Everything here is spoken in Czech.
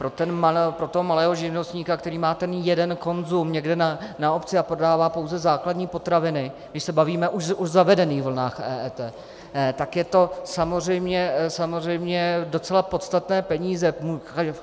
Pro toho malého živnostníka, který má ten jeden konzum někde na obci a prodává pouze základní potraviny, když se bavíme už o zavedených vlnách EET, tak je to samozřejmě docela podstatné, peníze.